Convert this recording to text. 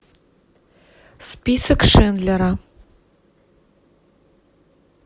список шиндлера